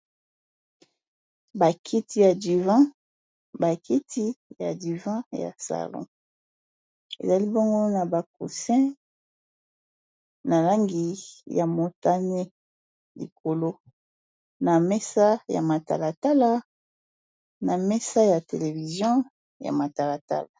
Bakiti ya divan, bakiti ya divan ya salon ezali bongo na bacousin na langi ya motane, likolo na mesa ya matalatala na mesa ya televizion ya matalatala.